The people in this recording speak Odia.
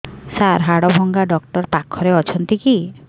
ସାର ହାଡଭଙ୍ଗା ଡକ୍ଟର ପାଖରେ ଅଛନ୍ତି କି